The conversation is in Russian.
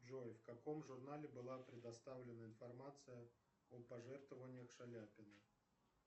джой в каком журнале была предоставлена информация о пожертвованиях шаляпина